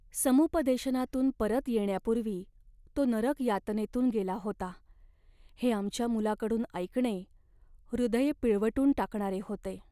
समुपदेशनातून परत येण्यापूर्वी तो नरक यातनेतून गेला होता हे आमच्या मुलाकडून ऐकणे हृदय पिळवटून टाकणारे होते.